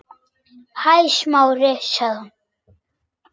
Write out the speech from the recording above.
Hæ, Smári- sagði hún.